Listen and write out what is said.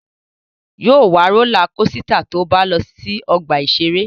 Yóò wa rólá kosità tó bá lọ sí ọgbà-ìṣeré